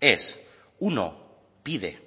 es uno pide